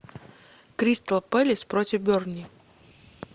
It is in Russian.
кристал пэлас против бернли